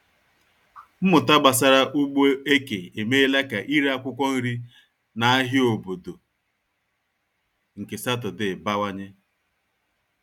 Mmụta gbasara ugbo eke emeela ka ire akwụkwọ nri na ahịa obodo nke Sátọdee bawanye.